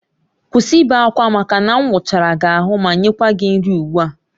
Kwụsị ibe akwa maka na m wụchara gị ahụ ma nyekwa gị nri ugbu a!